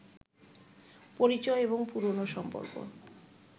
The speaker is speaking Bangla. পরিচয় এবং পুরনো সম্পর্ক